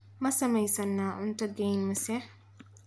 ma samaynaysaa cunto geyn mise